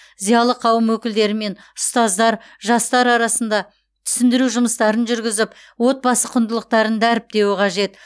зиялы қауым өкілдері мен ұстаздар жастар арасында түсіндіру жұмыстарын жүргізіп отбасы құндылықтарын дәріптеуі қажет